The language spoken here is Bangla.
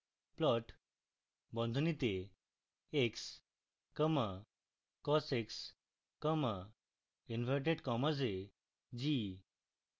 plot বন্ধনীতে x comma cos x comma inverted commas এ g